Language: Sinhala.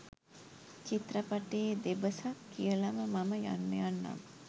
චිත්‍රපටයේ දෙබසක් කියලම මම යන්න යන්නම්.